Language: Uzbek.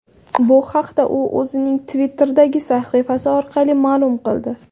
Bu haqda u o‘zining Twitter’dagi sahifasi orqali ma’lum qildi .